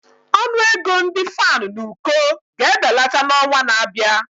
Ọnụ ego ndị fan n'uko ga-ebelata n'ọnwa na-abịa.